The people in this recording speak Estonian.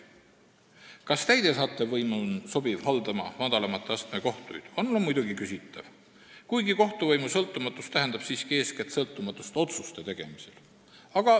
Kas täidesaatev võim on sobiv haldama madalama astme kohtuid, on ka muidugi küsitav, kuigi kohtuvõimu sõltumatus tähendab siiski eeskätt sõltumatust otsuste tegemisel.